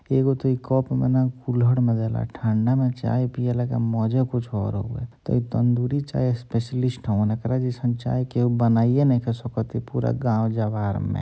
एगो त इ कप में ना कुल्हड़ में देला। ठंडा मे चाय पियाला के मजे कुछ और होला। त ई तंदूरी चाय स्पेशलिस्ट हवन। एकरा जैसन चाय केहु बनाइये नइखे सकत इ पूरा गाँव जवार में--